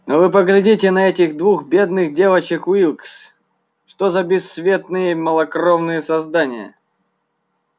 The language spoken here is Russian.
но вы поглядите на этих двух бедных девочек уилкс что за бесцветные малокровные создания